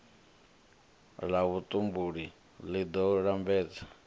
la vhutumbuli li do lambedza